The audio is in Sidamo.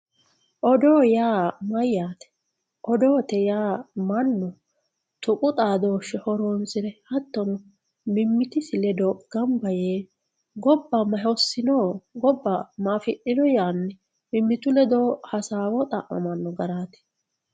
odoo yaa mayyate odoote yaa mannu tuqu xaadooshshe horonsire mimmitisi ledo gamba yee gobba ma hossino yaanni mimmitu ledo hasaawo xa'mamanno garaati.